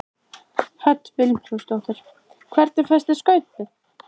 Hödd Vilhjálmsdóttir: Hvernig fannst þér Skaupið?